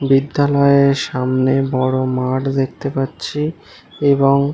বিদ্যালয়ের সামনে বড়ো মাঠ দেখতে পাচ্ছি। এবং--